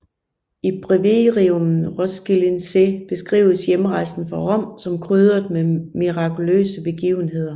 I breviarium Roskildense beskrives hjemrejsen fra Rom som krydret med mirakuløse begivenheder